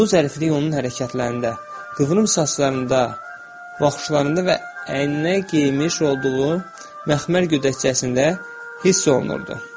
Bu zəriflik onun hərəkətlərində, qıvrım saçlarında, baxışlarında və əyninə geyinmiş olduğu məxmər gödəkcəsində hiss olunurdu.